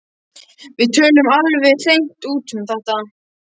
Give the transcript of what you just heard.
Við töluðum alveg hreint út um þetta.